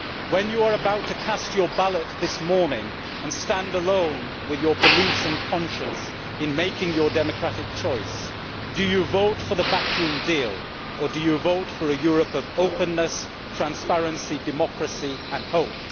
When you are about to cast your ballot this morning, and you stand alone with your beliefs and conscience in making your democratic choice, will you vote for the backroom deal, or will you vote for a Europe of openness, transparency, democracy and hope?